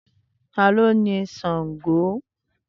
tani o ni Shango?